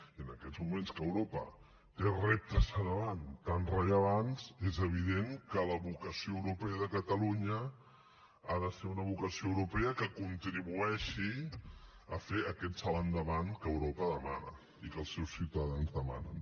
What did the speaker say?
i en aquests moments que europa té reptes davant tan rellevants és evident que la vocació europea de catalunya ha de ser una vocació europea que contribueixi a fer aquest salt endavant que europa demana i que els seus ciutadans demanen